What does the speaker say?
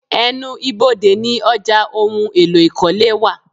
Ẹnu ibodè ní ọjà ohùn èlò ikọle wá